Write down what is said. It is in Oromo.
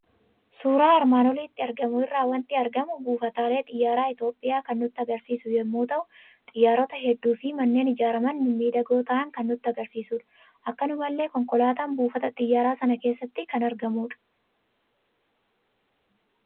Suuraa armaan olitti argamu irraa waanti argamu buufatalee Xiyaaraa Itoophiyaa kan nutti agarsiisu yommuu ta'u, Xiyyaarota hedduufi manneen ijaaramaan mimmiidhagoo ta'an kan nutti agarsiisudha. Akkanumallee Konkolaataan buufata Xiyyaaraa sana keessatti kan argamudha.